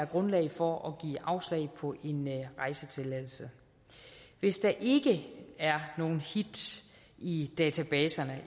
grundlag for at give afslag på en rejsetilladelse hvis der ikke er nogen hits i databaserne